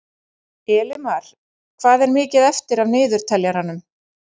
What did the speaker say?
Elimar, hvað er mikið eftir af niðurteljaranum?